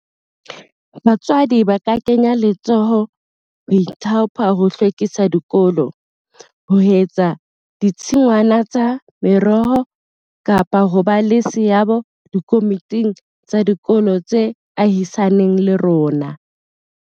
Batswadi ba ka kenya letsoho ho ithaopa ho hlwekisa dikolo, ho etsa ditshingwana tsa meroho kapa ho ba le seabo dikomiting tsa dikolo tse ahisaneng le rona.